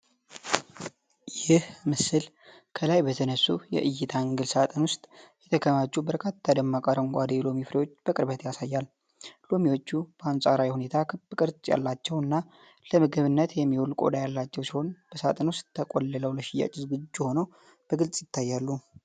ይህ ምስል ከላይ በተነሱ የእይታ አንግል ሳጥን ውስጥ የተከማቹ በርካታ ደማቅ አረንጓዴ የሎሚ ፍሬዎችን በቅርበት ያሳያል። ሎሚዎቹ በአንጻራዊ ሁኔታ ክብ ቅርጽ ያላቸው እና ለምግብነት የሚውል ቆዳ ያላቸው ሲሆን፣ በሳጥን ውስጥ ተቆልለው ለሽያጭ ዝግጁ ሆነው በግልጽ ይታያሉ።